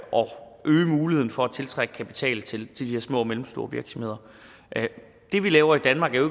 muligheden for at tiltrække kapital til de her små og mellemstore virksomheder det vi laver i danmark er jo